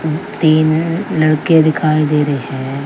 तीन लड़के दिखाई दे रहे हैं।